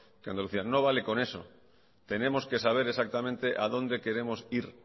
que andalucía no vale con eso tenemos que saber exactamente a donde queremos ir